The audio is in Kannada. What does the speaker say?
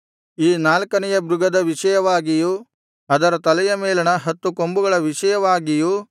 ಈ ನಾಲ್ಕನೆಯ ಮೃಗದ ವಿಷಯವಾಗಿಯೂ ಅದರ ತಲೆಯ ಮೇಲಣ ಹತ್ತು ಕೊಂಬುಗಳ ವಿಷಯವಾಗಿಯೂ